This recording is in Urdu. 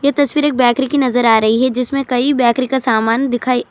یہ تصویر ایک بیکری کی نظر آ رہی هی جسمے کہی بیکری کا سامان دکھرہا هی.